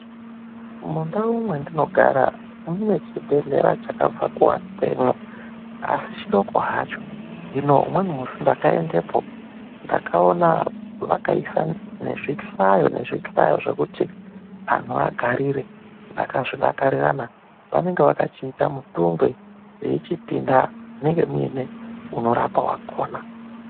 Mundau mwendinogara, munechibhehlera chakabva kuakwemo asi chidoko hacho. Hino umweni musi ndakaendepo, ndakaona vakaise nezvihlayo nezvihlayo zvokuti anhu agarire. Ndakazvidakarira mani, vanenge vakachiita mutungwe veyichipinda munenge mune anorapa wakona.